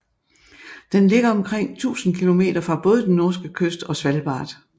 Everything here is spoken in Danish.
Den ligger omtrent 1000 kilometer fra både den norske kyst og Svalbard